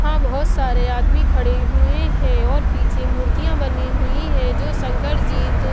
वहां बहुत सारे आदमी खड़े हुए हैं और पीछे मूर्तियां बनी हुई है जो शंकर जी--